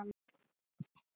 Gleymdi henni svo.